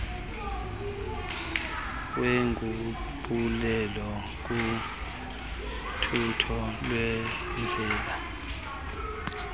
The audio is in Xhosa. wenguqulelo kuthutho lwendlela